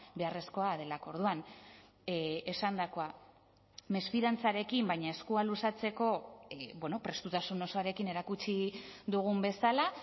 beharrezkoa delako orduan esandakoa mesfidantzarekin baina eskua luzatzeko prestutasun osoarekin erakutsi dugun bezala